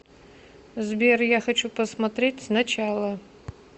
сбер я хочу посмотреть с начала